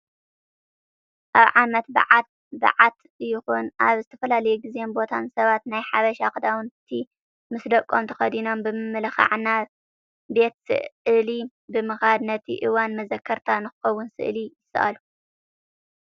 ኣብ ዓመት በዓት ይኹን ኣብ ዝተፈላለዩ ግዘን ቦታን ሰባት ናይ ሓበሻ ክዳውንቲ ምስ ደቆም ተኸዲኖም ብምምልካዕ ናብ ቤት ስዕሊ ብምካድ ነቲ እዋን መዘከርታ ንክኸውን ስእሊ ይሰዓሉ።